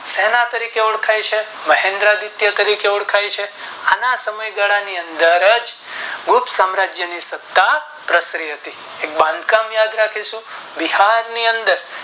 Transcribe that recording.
શેના તરીકે ઓળખાય છે મહેન્દ્રા ગુપ્ત તરીકે ઓળખાય છે આના સમયગાળા ની અંદર ગુપ્ત સામ્રાજ્યની સત્તા પ્રસરી હતી તેનું બાંધકામ યાદ રાખીશું બિહાર ની અંદર